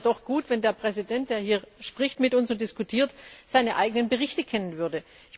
Also es wäre doch gut, wenn der Präsident, der hier mit uns spricht und diskutiert, seine eigenen Berichte kennen würde.